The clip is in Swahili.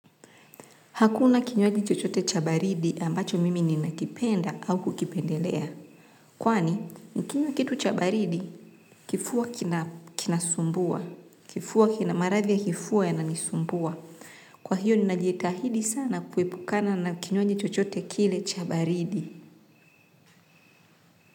Hakuna kinywaji chochote cha baridi ambacho mimi ninakipenda au kukipendelea. Kwani, nikinyaw kitu cha baridi, kifua kinasumbua, maradhi ya kifua yananisumbua. Kwa hiyo ninajitahidi sana kuepukana na kinywaji chochote kile cha baridi.